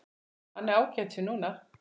Hann er ágætur núna.